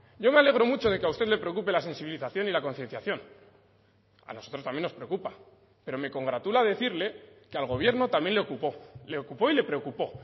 yo me alegro mucho de que a usted le preocupe la sensibilización y la concienciación a nosotros también nos preocupa pero me congratula decirle que al gobierno también le ocupó le ocupó y le preocupó